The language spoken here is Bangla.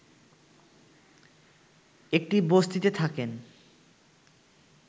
একটি বস্তিতে থাকেন